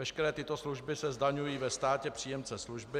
Veškeré tyto služby se zdaňují ve státě příjemce služby.